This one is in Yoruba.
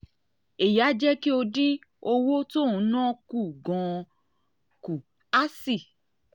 èyí á jẹ́ kó o dín owó tó dín owó tó ò ń ná kù gan-an kù á sì